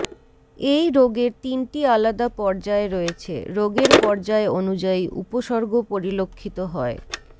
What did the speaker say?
এই রোগের তিনটি আলাদা পর্যায় রয়েছে রোগের পর্যায় অনুযায়ী উপসর্গ পরিলক্ষিত হয়